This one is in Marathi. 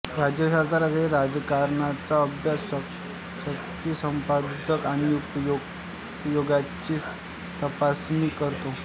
राज्यशास्त्र हे राजकारणाचा अभ्यास शक्ती संपादन आणि उपयोगाची तपासणी करतो